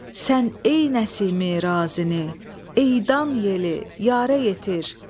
Sən ey Nəsimi razini, eydan yeli yarə yetir.